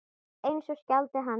Eins og skáldið sagði ekki.